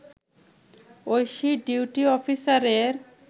Oishi duty অফিসারের